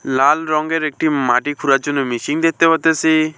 লাল রঙ্গের একটি মাটি খুঁড়ার জন্য মেশিন দেখতে পারতাসি।